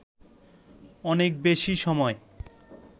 অনেক বেশি সময়